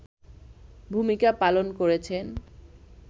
ভূমিকা পালন করেছেন